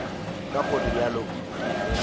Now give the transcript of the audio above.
ka go realo ke ge